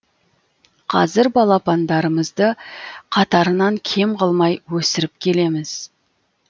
қазір балапандарымызды қатарынан кем қылмай өсіріп келеміз